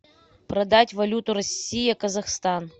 продать валюту россия казахстан